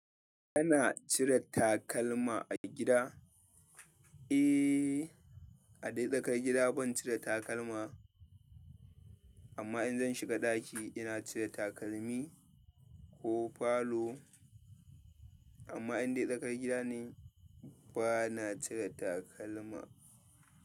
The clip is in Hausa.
Kana cire takalma a gida? Eh, a dai tsakar gida ban cire takalma, amma in zan shiga ɗaki ina cire takalmi ko falo. Amma indai tsakar gida ne bana cire takalma.